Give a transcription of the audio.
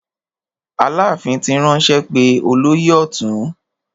Aláàfin ti ránṣẹ́ pé olóyè ọ̀tún.